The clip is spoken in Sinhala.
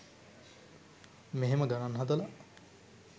මෙහෙම ගනන් හදල